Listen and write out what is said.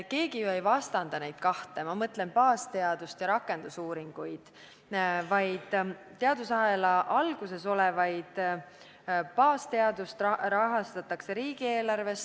Keegi ju ei vastanda neid kahte – ma mõtlen baasteadust ja rakendusuuringuid –, aga teadusahela alguses olevat baasteadust rahastatakse riigieelarvest.